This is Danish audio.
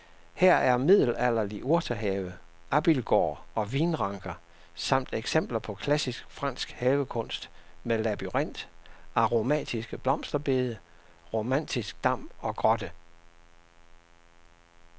Her er middelalderlig urtehave, abildgård og vinranker samt eksempler på klassisk fransk havekunst med labyrint, aromatiske blomsterbede, romantisk dam og grotte.